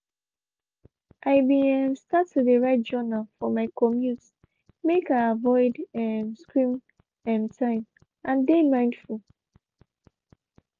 i be um start to de write journal for my communte make i avoid um screen um time and de mindful.